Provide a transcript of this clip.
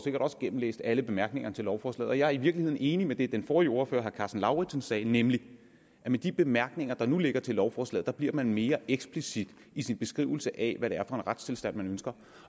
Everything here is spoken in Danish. sikkert også gennemlæst alle bemærkningerne til lovforslaget og jeg er i virkeligheden enig med det den forrige ordfører herre karsten lauritzen sagde nemlig at med de bemærkninger der nu ligger til lovforslaget bliver man mere eksplicit i sin beskrivelse af hvad det er retstilstand man ønsker